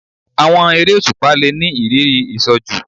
Àwọn eré òṣùpá le ni ìrírí ìṣojú